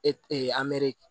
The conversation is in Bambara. Ee an mɛri